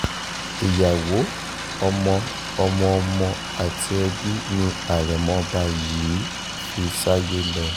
ìyàwó ọmọ ọmọọmọ àti ẹbí ni àrẹ̀mọ ọba yìí fi sáyé lọ